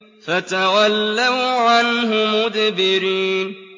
فَتَوَلَّوْا عَنْهُ مُدْبِرِينَ